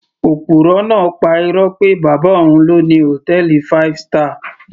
Òpùrọ́ náà pa irọ́ pé bàbá òun ló ni hòtẹ́ẹ̀lì five star